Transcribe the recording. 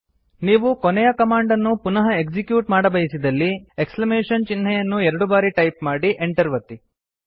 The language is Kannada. ನೀವು ಕೊನೆಯ ಕಮಾಂಡ್ ಅನ್ನು ಪುನಃ ಎಕ್ಸಿಕ್ಯೂಟ್ ಮಾಡಬಯಸಿದಲ್ಲಿ ಎಕ್ಸಮೇಶನ್ ಚಿಹ್ನೆಯನ್ನು ಎರಡು ಬಾರಿ ಟೈಪ್ ಮಾಡಿ Enter ಒತ್ತಿ